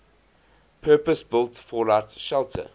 purpose built fallout shelter